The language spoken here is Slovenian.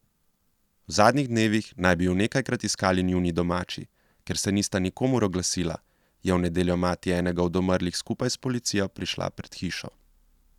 V zadnjih dnevih naj bi ju nekajkrat iskali njuni domači, ker se nista nikomur oglasila, je v nedeljo mati enega od umrlih skupaj s policijo prišla pred hišo.